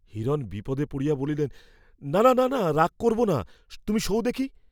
হিরণ বিপদে পড়িয়া বলিলেন না, না, রাগ করব না, তুমি শোও দেখি।